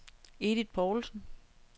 Edith Poulsen